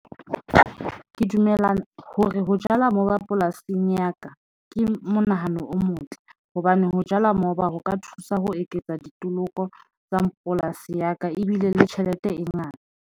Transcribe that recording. Ke dumellana hore ho jala moba polasing ya ka ke monahano o motle hobane ho jala moba ho ka thusa ho eketsa ditlhoko tsa polasi ya ka, ebile le tjhelete e ngata.